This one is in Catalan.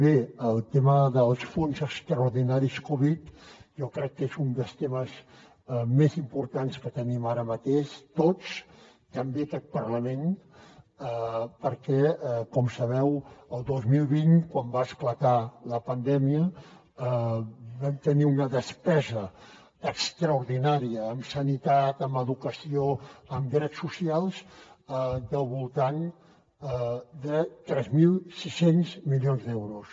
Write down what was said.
bé el tema dels fons extraordinaris covid jo crec que és un dels temes més importants que tenim ara mateix tots també aquest parlament perquè com sabeu el dos mil vint quan va esclatar la pandèmia vam tenir una despesa extraordinària en sanitat en educació en drets socials del voltant de tres mil sis cents milions d’euros